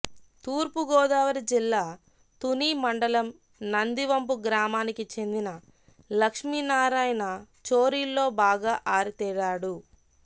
తూర్పుగోదావరి జిల్లా తుని మండలం నందివంపు గ్రామానికి చెందిన లక్ష్మీనారాయణ చోరీల్లో బాగా ఆరితేరాడు